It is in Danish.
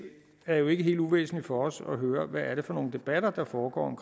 er jo ikke helt uvæsentligt for os at høre hvad det er for nogle debatter der foregår om